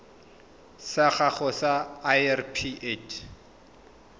sa gago sa irp it